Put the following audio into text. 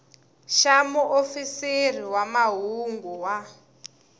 xa muofisiri wa mahungu wa